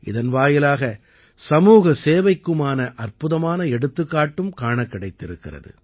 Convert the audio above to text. இதன் வாயிலாக சமூகசேவைக்குமான அற்புதமான எடுத்துக்காட்டும் காணக் கிடைத்திருக்கிறது